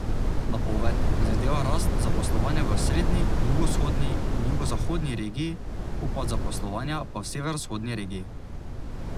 Napoved predvideva rast zaposlovanja v osrednji, jugovzhodni in jugozahodni regiji, upad zaposlovanja pa v severovzhodni regiji.